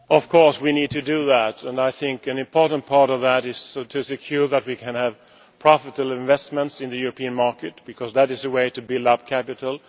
Of course we need to do that and I think an important part of that is to ensure that we can have profitable investments in the European market because that is the way to build up capital.